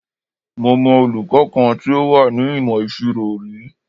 Mo mọ olùkọ́ kan tí ó wà ní ìmọ̀ ìṣirò rí.